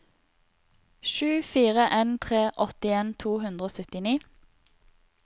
sju fire en tre åttien to hundre og syttini